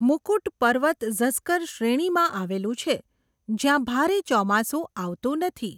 મુકુટ પર્વત ઝસ્કર શ્રેણીમાં આવેલું છે જ્યાં ભારે ચોમાસું આવતું નથી.